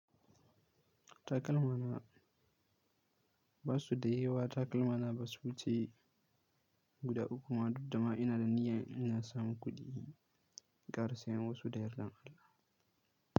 Takalmana ba su da yawa, takalmana ba su wuce guda uku ma duk da ma ina da niyyar inna samu kuɗi, in ƙara sayen wasu da yardar Allah.